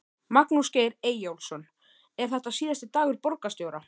Magnús Geir Eyjólfsson: Er þetta síðasti dagur borgarstjóra?